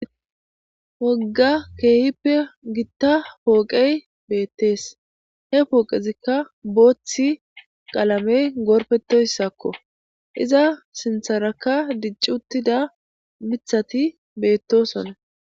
wogga keehippe gitta pooqey beettees he pooqezikka booththi qaalamey goorpetoyssakko iza sintharaka dicci uttida mithati beettosonna